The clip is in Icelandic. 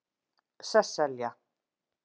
Sesselja